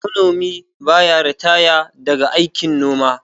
Manomi ba ya ritaya daga aikin noma